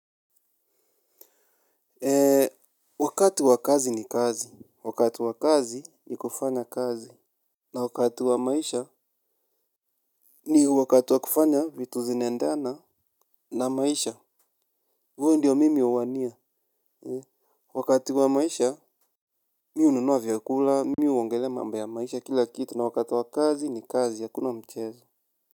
Wakati wa kazi ni kazi, wakati wa kazi ni kufanya kazi. Na wakati wa maisha ni wakati wa kufanya vitu zinaendana na maisha huvo ndio mimi uwania, wakati wa maisha mimi hununua vyakula, mimi huongelea mambo maisha kila kitu na wakati wa kazi ni kazi akuna mchezo.